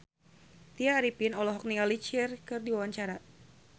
Tya Arifin olohok ningali Cher keur diwawancara